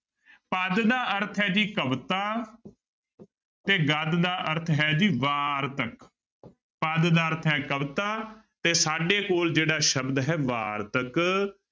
ਪਦ ਦਾ ਅਰਥ ਹੈ ਜੀ ਕਵਿਤਾ ਤੇ ਗਦ ਦਾ ਅਰਥ ਹੈ ਜੀ ਵਾਰਤਕ ਪਦ ਦਾ ਅਰਥ ਹੈ ਕਵਿਤਾ ਤੇ ਸਾਡੇ ਕੋਲ ਜਿਹੜਾ ਸ਼ਬਦ ਹੈ ਵਾਰਤਕ।